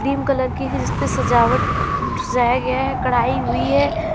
Cream colour की है जिसपे सजावट सजाया गया है। कढ़ाई हुई है।